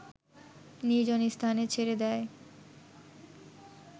নির্জন স্থানে ছেড়ে দেয়